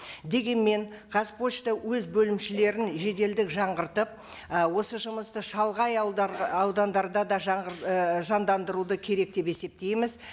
дегенмен қазпошта өз бөлімшелерін жеделдік жаңғыртып ы осы жұмысты шалғай ауылдар аудандарда да ы жандандыруды керек деп есептейміз